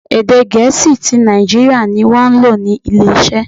Èdè Gẹ̀ẹ́sì ti Naijiria ni wọ́n lò ní ilé iṣẹ́.